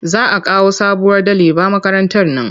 Za a kawo sabuwar daliba makarantar nan.